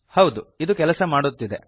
ಹೌದು ಇದು ಕೆಲಸ ಮಾಡುತ್ತಿದೆ